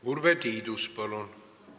Urve Tiidus, palun!